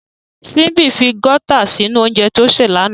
Simbi fi Gauta sinu ounjẹ ti o ṣe lana.